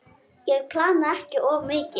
Ég plana ekki of mikið.